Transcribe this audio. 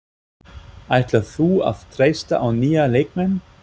Ætlar þú að treysta á nýja leikmenn?